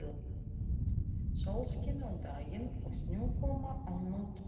Sólskin á daginn og snjókoma á nóttunni.